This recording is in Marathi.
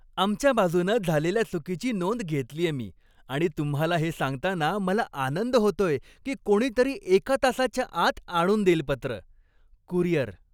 आमच्या बाजूनं झालेल्या चुकीची नोंद घेतलीये मी आणि तुम्हाला हे सांगताना मला आनंद होतोय की कोणीतरी एका तासाच्या आत आणून देईल पत्र. कुरिअर